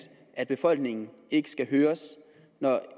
at befolkningen ikke skal høres når